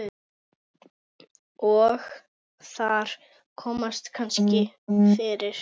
Og þar komast kannski fyrir